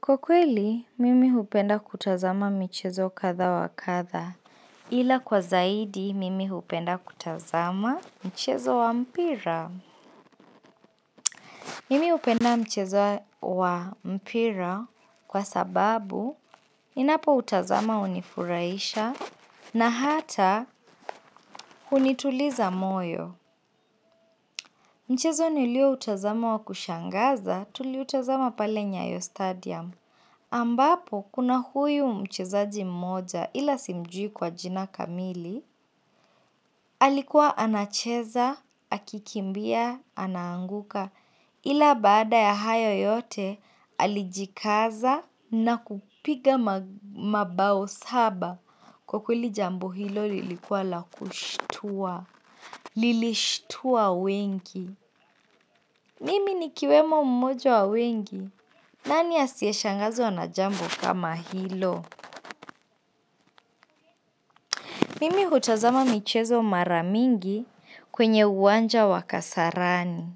Kwa kweli, mimi hupenda kutazama michezo kadha wa kadha. Ila kwa zaidi, mimi hupenda kutazama mchezo wa mpira. Mimi hupenda mchezo wa mpira kwa sababu, ninapo utazama hunifurahisha na hata, hunituliza moyo. Mchezo nilio utazama wa kushangaza, tuliutazama pale nyayo stadium. Ambapo kuna huyu mchezaji mmoja ila simjui kwa jina kamili Alikuwa anacheza, akikimbia, anaanguka Ila baada ya hayo yote alijikaza na kupiga mabao saba Kwa kweli jambo hilo lilikuwa la kushtua Lilishtua wengi Mimi nikiwemo mmoja wa wengi nani asiyeshangazwa na jambo kama hilo? Mimi hutazama michezo mara mingi kwenye uwanja wa kasarani.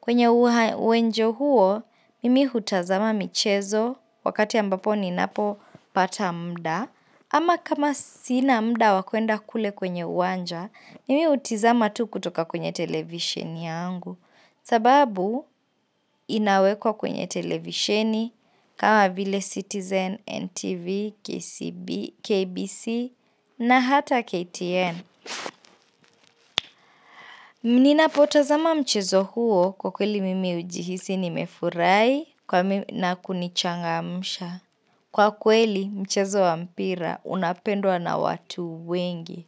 Kwenye uwanja huo, mimi hutazama michezo wakati ambapo ninapo pata muda. Ama kama sina muda wa kwenda kule kwenye uwanja, mimi utizama tu kutoka kwenye televisheni yangu. Sababu inawekwa kwenye televisheni kama vile Citizen, NTV, KCB KBC na hata KTN ninapotozama mchezo huo, kwa kweli mimi ujihisi nimefurahi na kunichangamsha. Kwa kweli mchezo wa mpira unapendwa na watu wengi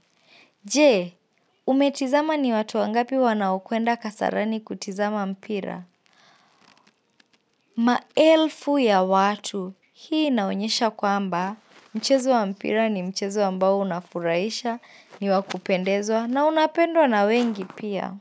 Je, umetizama ni watu wangapi wanaokwenda kasarani kutizama mpira? Maelfu ya watu hii inaonyesha kwamba mchezo wa mpira ni mchezo ambao unafurahisha ni wa kupendezwa na unapendwa na wengi pia.